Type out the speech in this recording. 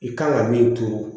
I kan ka min turu